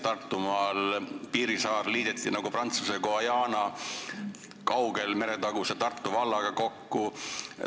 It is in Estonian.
Tartumaal Piirissaar liideti nagu Prantsuse Guajaana kaugel oleva meretaguse Tartu vallaga kokku.